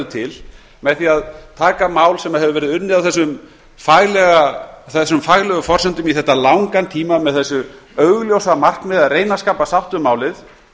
til með því að taka mál sem hefur verið unnið á þessum faglegu forsendum í þetta langan tíma með þessu augljósa markmiði að reyna að skapa sátt um málið